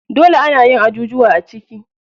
Dole anayin ajujuwa a ciki.